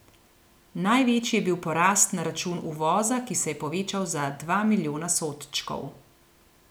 Največji je bil porast na račun uvoza, ki se je povečal za dva milijona sodčkov.